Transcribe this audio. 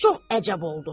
Çox əcəb oldu.